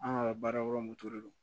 An ka baara yɔrɔ moto don